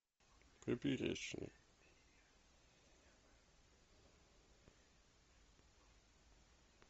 поперечный